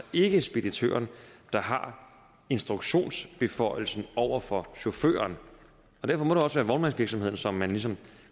ikke speditøren der har instruktionsbeføjelsen over for chaufføren og derfor må det også være vognmandsvirksomheden som man ligesom